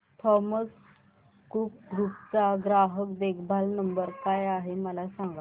Thomas Cook group चा ग्राहक देखभाल नंबर काय आहे मला सांगा